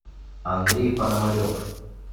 андрей пономарев